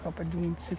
Copa do Mundo de